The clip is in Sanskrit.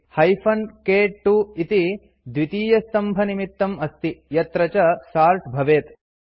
हाइफेन क्2 इति द्वितीयस्तम्भनिमित्तम् अस्ति यत्र च सोर्ट् भवेत्